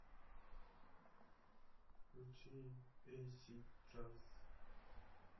включи эйсид джаз